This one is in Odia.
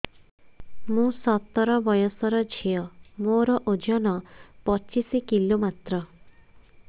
ମୁଁ ସତର ବୟସର ଝିଅ ମୋର ଓଜନ ପଚିଶି କିଲୋ ମାତ୍ର